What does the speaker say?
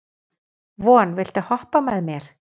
Von, viltu hoppa með mér?